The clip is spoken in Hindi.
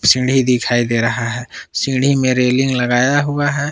सीढ़ी दिखाई दे रहा है सीढ़ी में रेलिंग लगाया हुआ है।